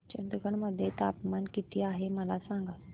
चंदगड मध्ये तापमान किती आहे मला सांगा